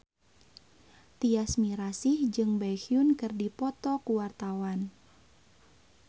Tyas Mirasih jeung Baekhyun keur dipoto ku wartawan